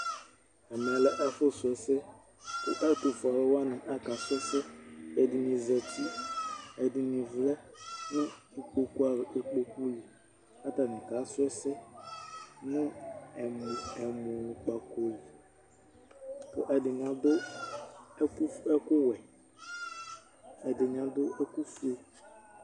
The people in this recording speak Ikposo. Ɛmɛ lɛ ɛfʋsʋɛsɛ Kʋ ɛtʋfue alu wani aka sʋɛsɛ Ɛdɩnɩzǝtɩ, ɛdɩnɩ avlɛ nʋ ikpoku li, kʋ atani kasʋɛsɛ nʋ ɛmʋkpako li Kʋ ɛdɩnɩ adu ɛkʋwɛ, ɛdɩnɩ adu ɛkʋfue